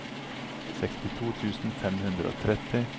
sekstito tusen fem hundre og tretti